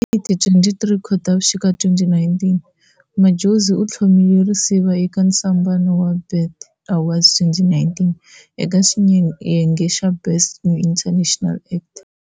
Hi ti 23 Khotavuxika, 2019, Madjozi uthlomiwe risiva eka ntsombano wa BET Awards 2019 aka xiyenge xa Best New International Act.